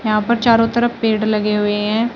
यहां पर चारों तरफ पेड़ लगे हुए हैं।